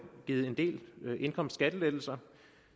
givet en del indkomstskattelettelser